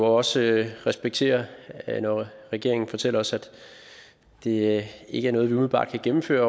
også respektere at når regeringen fortæller os at det ikke er noget vi umiddelbart kan gennemføre af